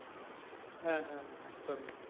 হ্যাঁ, হ্যাঁ, একদম ই,